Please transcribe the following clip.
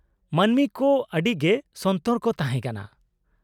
-ᱢᱟᱹᱱᱢᱤ ᱠᱚ ᱟᱹᱰᱤᱜᱮ ᱥᱚᱱᱛᱚᱨ ᱠᱚ ᱛᱟᱦᱮᱸᱠᱟᱱᱟ ᱾